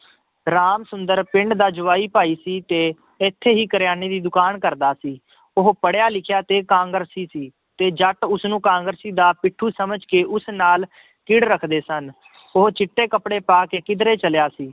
ਰਾਮ ਸੁੰਦਰ ਪਿੰਡ ਦਾ ਜਵਾਈ ਭਾਈ ਸੀ ਤੇ ਇੱਥੇ ਹੀ ਕਰਿਆਨੇ ਦੀ ਦੁਕਾਨ ਕਰਦਾ ਸੀ, ਉਹ ਪੜ੍ਹਿਆ ਲਿਖਿਆ ਤੇ ਕਾਂਗਰਸੀ ਸੀ ਤੇ ਜੱਟ ਉਸਨੂੰ ਕਾਂਗਰਸੀ ਦਾ ਪਿੱਠੂ ਸਮਝ ਕੇ ਉਸ ਨਾਲ ਹਿੱੜ ਰੱਖਦੇ ਸਨ ਉਹ ਚਿੱਟੇ ਕੱਪੜੇ ਪਾ ਕੇ ਕਿੱਧਰੇ ਚੱਲਿਆ ਸੀ